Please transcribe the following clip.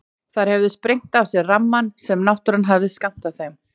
Þær höfðu sprengt af sér rammann sem náttúran hafði skammtað þeim.